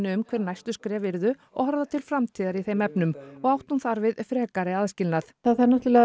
um hver næstu skref yrðu og horfa til framtíðar í þeim efnum og átti hún þar við frekari aðskilnað það þarf náttúrulega